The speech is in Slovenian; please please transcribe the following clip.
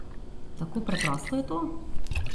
Tako preprosto je to?